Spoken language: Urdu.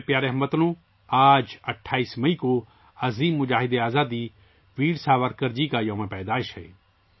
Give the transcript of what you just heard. میرے پیارے ہم وطنو، آج 28 مئی عظیم مجاہد آزادی ویر ساورکر جی کا یوم پیدائش ہے